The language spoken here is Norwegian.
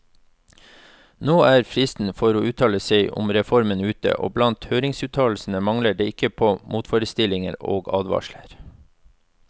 Nå er fristen for å uttale seg om reformen ute, og blant høringsuttalelsene mangler det ikke på motforestillinger og advarsler.